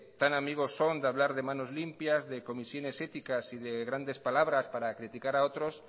tan amigos son de hablar de manos limpias de comisiones éticas y de grandes palabras para criticar a otros